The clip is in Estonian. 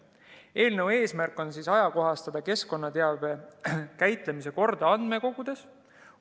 Eelnõu eesmärk on ajakohastada keskkonnateabe käitlemise korda andmekogudes.